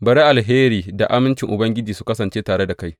Bari alheri da amincin Ubangiji su kasance tare da kai.